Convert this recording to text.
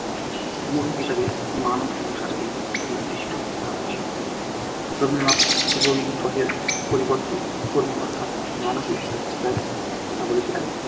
মূল হিসেবে মানব সংসারকেই নির্দিষ্ট করা হয়েছে রবীন্দ্রনাথ দেববি গ্রহের পরিবর্তে কর্মী অর্থাৎ মানুষ ঈশ্বরের পূজার কথা বলেছিলেন।